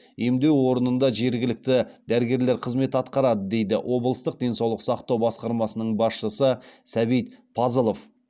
емдеу орнында жергілікті дәрігерлер қызмет атқарады дейді облыстық денсаулық сақтау басқармасының басшысы сәбит пазылов